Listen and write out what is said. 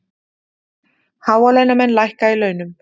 Hálaunamenn lækka í launum